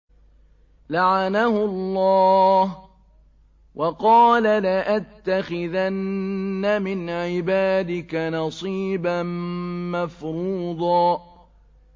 لَّعَنَهُ اللَّهُ ۘ وَقَالَ لَأَتَّخِذَنَّ مِنْ عِبَادِكَ نَصِيبًا مَّفْرُوضًا